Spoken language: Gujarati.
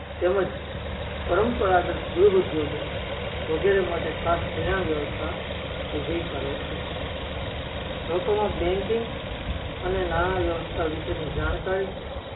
તેમજ પરંપરાગત ગૃહ ઉધોયો વગેરે માટે ખાસ ધિરાણ વ્યવસ્થા ઉભી કરે છે લોક્કો માં banking અને નાણા વ્યાવસા વિષે ની જાણકારી